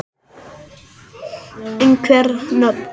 Einhver nöfn?